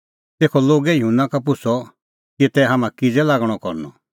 तेखअ लोगै युहन्ना का पुछ़अ कि तै हाम्हां किज़ै लागणअ करनअ